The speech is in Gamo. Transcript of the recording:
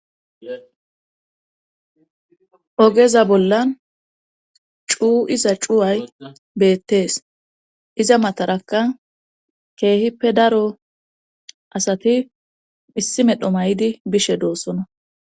Ogeza bollan cuu iza cuway beettees iza matarakka keehippe daro asati issi medho may7di bishe doossona